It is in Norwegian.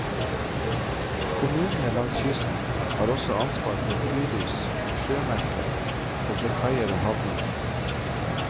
Kommunene langs kysten har også ansvar for fyrlys, sjømerker, og for kaier og havner.